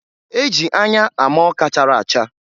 E ji anya ama ọka chara acha.